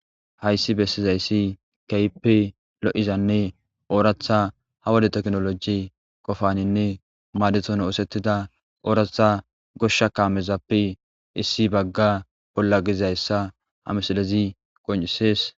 Haysi besizaysi keehippe lo'izanne oratha ha wode tekinoloje qopaninne madetini osetida oratha Gosha kamezappe issi Baga bolla gizaysa ha misilezi qoncisesi.